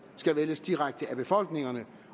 skal vælges direkte af befolkningerne